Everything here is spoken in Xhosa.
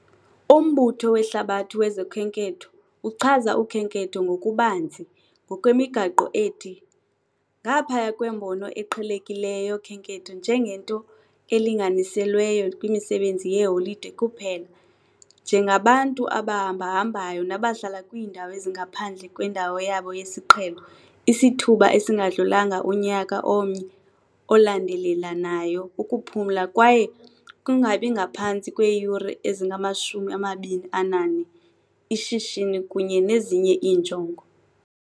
UMbutho weHlabathi wezoKhenketho uchaza ukhenketho ngokubanzi, ngokwemigaqo ethi "ngaphaya kwembono eqhelekileyo yokhenketho njengento elinganiselweyo kwimisebenzi yeholide kuphela", njengabantu "abahambahambayo nabahlala kwiindawo ezingaphandle kwendawo yabo yesiqhelo isithuba esingadlulanga unyaka omnye olandelelanayo ukuphumla kwaye kungabi ngaphantsi kweeyure ezingama-24, ishishini kunye nezinye iinjongo".